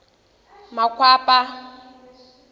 makwapa